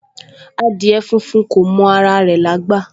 Adìẹ funfun kò mọ ara rẹ̀ lágbà